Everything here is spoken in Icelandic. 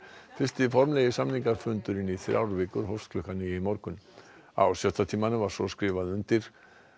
fyrsti formlegi samningafundurinn í þrjár vikur hófst klukkan níu í morgun á sjötta tímanum var svo skrifað undir